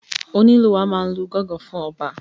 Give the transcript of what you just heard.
Onílù wa máa n lu gángan fún ọba.